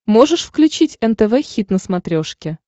можешь включить нтв хит на смотрешке